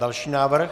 Další návrh.